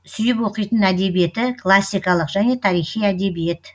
сүйіп оқитын әдебиеті классикалық және тарихи әдебиет